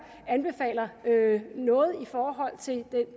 anbefaler noget i forhold til